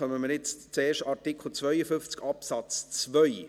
Dann kommen wir jetzt zuerst zu Artikel 52 Absatz 2.